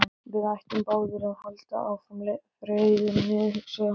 Við ættum báðir að halda áfram ferðinni, hugsaði hann.